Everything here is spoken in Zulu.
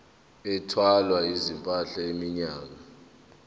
ethwala izimpahla iminyaka